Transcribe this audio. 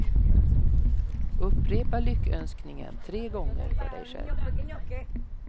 Upprepa lyckönskningen tre gånger för dig själv.